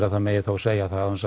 að það megi þó segja það án þess